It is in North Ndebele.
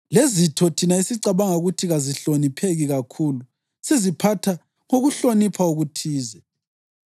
lezitho thina esicabanga ukuthi kazihlonipheki kakhulu siziphatha ngokuhlonipha okuthize.